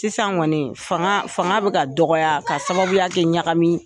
Sisan kɔnii fanga fanga bɛ ka dɔgɔya ka sababuya kɛ ɲagami